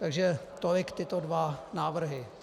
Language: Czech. Takže tolik tyto dva návrhy.